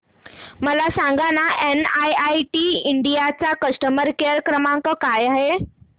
मला सांगाना NIIT India चा कस्टमर केअर क्रमांक काय आहे